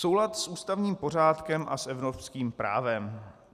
Soulad s ústavním pořádkem a s evropským právem.